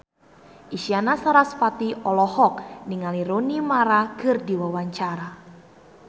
Isyana Sarasvati olohok ningali Rooney Mara keur diwawancara